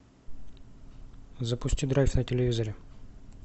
запусти драйв на телевизоре